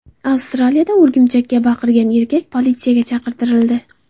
Avstraliyada o‘rgimchakka baqirgan erkak politsiyaga chaqirtirildi.